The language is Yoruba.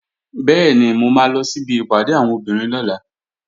Bẹ́ẹ̀ni, mo máa lọ síbi ìpàdé àwọn obìnrin lọ́la